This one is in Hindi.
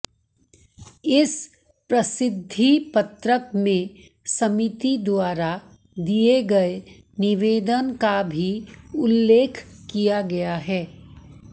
इस प्रसिद्धिपत्रक में समिति द्वारा दिए गए निवेदन का भी उल्लेख किया गया है